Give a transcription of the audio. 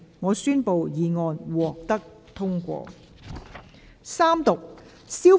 我宣布議案獲得通過。